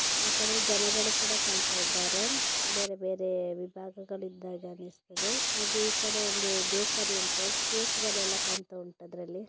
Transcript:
ಆ ಕಡೆ ಜನಗಳು ಕೂಡ ಕಾಣ್ತಾ ಇದ್ದಾರೆ ಬೇರೆ ಬೇರೆ ವಿಭಾಗಗಳಿಂದ ಅನ್ನಸ್ತಾಯಿದೆ ಹಾಗೆ ಈ ಕಡೆ ಬಂದು ಬೇಕ್ರಿ ಉಂಟು ಕೇಕ್ಕಳೆಲ್ಲ ಕಾಣ್ತಾ ಉಂಟು. ಅದ್ರಲ್ಲಿ--